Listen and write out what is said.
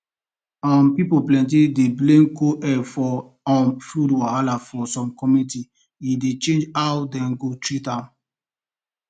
um pipol plenty dey blame cold air for um flu wahala for some community e dey shape how dem go treat am